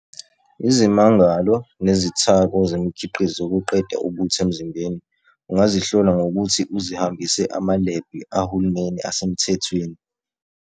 Izimangalo nezithako zemikhiqizo zokuqeda ubuthe emzimbeni ungazihlola ngokuthi uzihambise amalebhu ahulumeni asemthethweni.